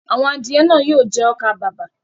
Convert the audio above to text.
Àwọn adìẹ náà yóò jẹ ọkà-bàbà.